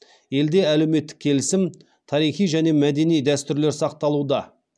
елде әлеуметтік келісім тарихи және мәдени дәстүрлер сақталуда